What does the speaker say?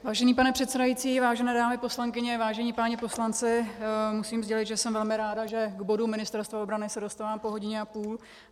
Vážený pane předsedající, vážené dámy poslankyně, vážení páni poslanci, musím sdělit, že jsem velmi ráda, že k bodu Ministerstva obrany se dostávám po hodině a půl.